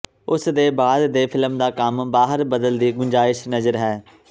ਉਸ ਦੇ ਬਾਅਦ ਦੇ ਫਿਲਮ ਦਾ ਕੰਮ ਬਾਹਰ ਬਦਲ ਦੀ ਗੁੰਜਾਇਸ਼ ਨਜ਼ਰ ਹੈ